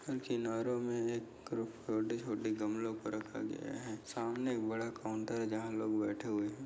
किनारो मे एक गमलो को रखा गया है सामने एक बडा काउंटर है जहा लोग बैठे हुए है।